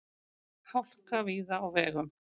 Hálka víða á vegum